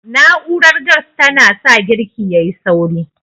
Na'urar gas ta na sa girki yayi sauri